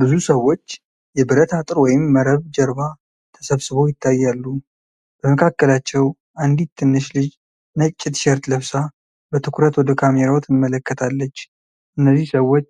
ብዙ ሰዎች የብረት አጥር ወይም መረብ ጀርባ ተሰብስበው ይታያሉ። በመካከላቸው አንዲት ትንሽ ልጅ ነጭ ቲሸርት ለብሳ በትኩረት ወደ ካሜራው ትመለከታለች። እነዚህ ሰዎች